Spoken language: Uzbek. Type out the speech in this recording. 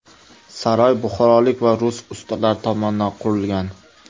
Saroy buxorolik va rus ustalari tomonidan qurilgan.